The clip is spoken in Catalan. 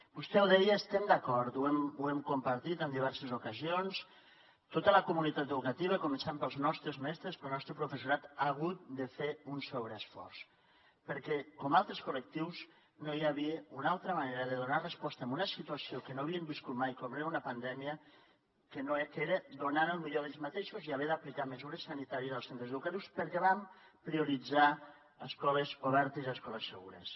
vostè ho deia i hi estem d’acord ho hem compartit en diverses ocasions tota la comunitat educativa començant pels nostres mestres pel nostre professorat ha hagut de fer un sobreesforç perquè com altres col·lectius no hi havia una altra manera de donar resposta a una situació que no havíem viscut mai com era una pandèmia que era donant el millor d’ells mateixos i haver d’aplicar mesures sanitàries als centres educatius perquè vam prioritzar escoles obertes i escoles segures